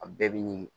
A bɛɛ bi ɲi